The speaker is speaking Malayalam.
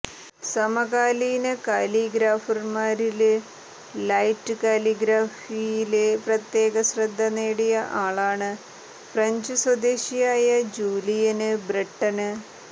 സമകാലീന കലിഗ്രാഫര്മാരില് ലൈറ്റ് കലിഗ്രഫിയില് പ്രത്യേക ശ്രദ്ധ നേടിയ ആളാണ് ഫ്രഞ്ച് സ്വദേശിയായ ജൂലിയന് ബ്രെട്ടണ്